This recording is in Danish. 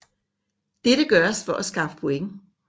Dette gøres for at skaffe point